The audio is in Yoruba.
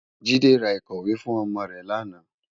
Jide rá ikòwé fún òmò rè làná